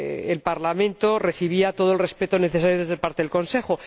el Parlamento recibía todo el respeto necesario por parte del Consejo.